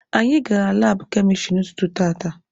Anyị gara laabụ kemịstrị n'ụtụtụ tata.